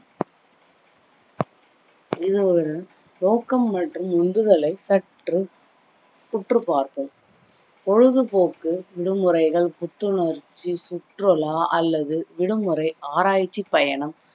இது ஒரு நோக்கம் மற்றும் உந்துதலை சற்று உற்று பார்ப்போம் பொழுது போக்கு விடுமுறைகள், புத்துணர்ச்சி சுற்றுலா அல்லது விடுமுறை ஆராய்ச்சி பயணம்